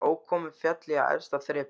Ókominn féll ég af efsta þrepi